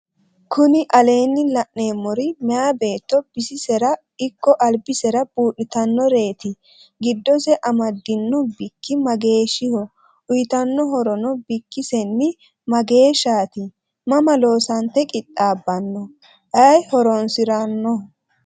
kuni aleenni la'neemeri meyaa beetto bisisera ikko albisera buudhitanoreeti. giddose amadinno bikki mageeshiho? uyitanno horono bikkisenni mageeshaati? mama loosante qixxabbanno? ayi horoonsiranno?